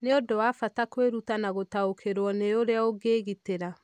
Nĩ ũndũ wa bata kwĩruta na gũtaũkĩrũo nĩ ũrĩa ũngĩĩgitĩra.